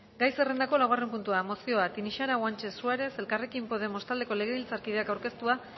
gai zerrendako laugarren puntua mozioa tinixara guanche suárez elkarrekin podemos taldeko legebiltzarkideak aurkeztua